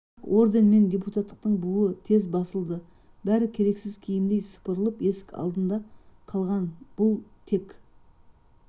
бірақ орден мен депутаттықтың буы тез басылды бәрі керексіз киімдей сыпырылып есік алдында қалған бұл тек